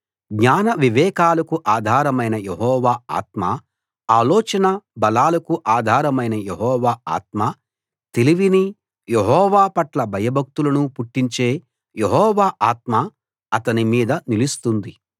జ్ఞానవివేకాలకు ఆధారమైన యెహోవా ఆత్మ ఆలోచన బలాలకు ఆధారమైన యెహోవా ఆత్మ తెలివినీ యెహోవా పట్ల భయభక్తులనూ పుట్టించే యెహోవా ఆత్మ అతని మీద నిలుస్తుంది